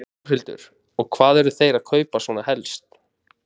Þórhildur: Og hvað eru þeir að kaupa svona helst?